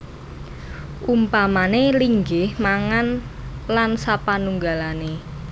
Umpamané linggih mangan lan sapanunggalané